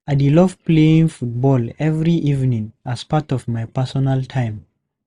I dey love playing football every evening as part of my personal time.